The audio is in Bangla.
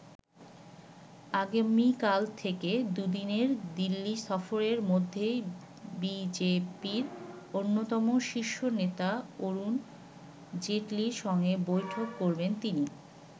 আগামীকাল থেকে দুদিনের দিল্লি সফরের মধ্যেই বি জে পি-র অন্যতম শীর্ষ নেতা অরুণ জেটলির সঙ্গে বৈঠক করবেন তিনি।